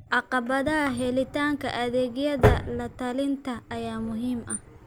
Caqabadaha helitaanka adeegyada la-talinta ayaa muhiim ah.